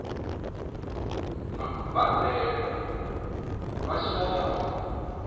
na u badela vha shayaho